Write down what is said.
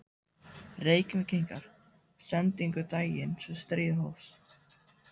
Reykvíkingar sendingu daginn sem stríðið hófst.